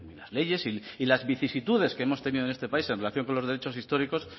las leyes y las vicisitudes que hemos tenido en este país en relación con los derechos históricos